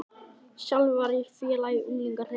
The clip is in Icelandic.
Sjálfur var ég félagi í ungliðahreyfingunni.